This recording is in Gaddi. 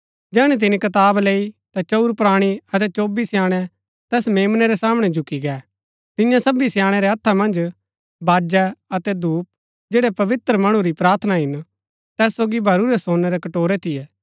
जैहणै तिनी कताब लैई ता चंऊर प्राणी अतै चौबी स्याणै तैस मेम्ना रै सामणै झुकी गै तियां सबी स्याणै रै हत्था मन्ज बाजै अतै धूप जैड़ै पवित्र मणु री प्रार्थना हिन तैत सोगी भरूरै सोनै रै कटोरै थियै